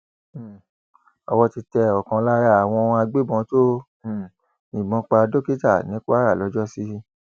um owó ti tẹ ọkan lára àwọn agbébọn tó um yìnbọn pa dókítà ní kwara lọjọsí